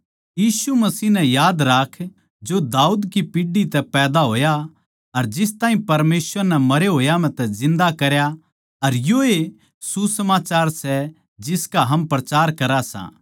यीशु मसीह नै याद राख जो दाऊद की पीढ़ी तै पैदा होया अर जिस ताहीं परमेसवर नै मरे होया म्ह तै जिन्दा करया अर योए सुसमाचार सै जिसका हम प्रचार करां सां